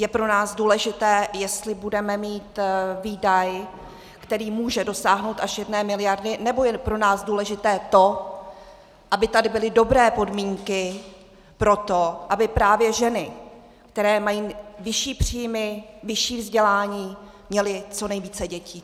Je pro nás důležité, jestli budeme mít výdaj, který může dosáhnout až jedné miliardy, nebo je pro nás důležité to, aby tady byly dobré podmínky pro to, aby právě ženy, které mají vyšší příjmy, vyšší vzdělání, měly co nejvíce dětí?